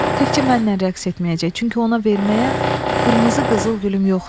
Təkçə mənlə rəqs etməyəcək, çünki ona verməyə qırmızı qızılgülüm yoxdur.